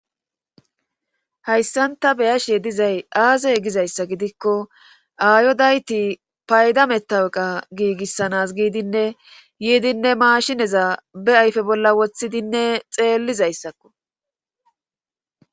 hayssan ta beyashe dizay aazee gizayssa gidikko ayodayti payda metaweqa giigissanas giidinne yiidinne maashineza be ayfe bolla woththidinne xeellizayssakko